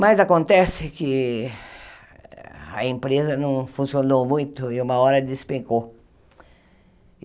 Mas acontece que a empresa não funcionou muito e uma hora despecou.